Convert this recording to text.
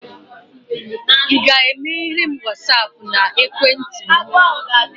ị ga-emeghere m Wasapụ na ekwentị m?